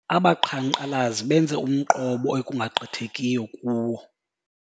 Abaqhankqalazi benze umqobo ekungagqithekiyo kuwo.